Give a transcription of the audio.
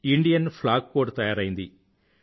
Indian flag code తయారైంది